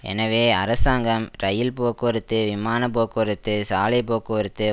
எனவே அரசாங்கம் இரயில் போக்குவரத்து விமான போக்குவரத்து சாலை போக்குவரத்து